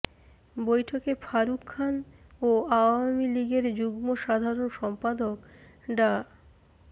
বৈঠকে ফারুক খান ও আওয়ামী লীগের যুগ্ম সাধারণ সম্পাদক ডা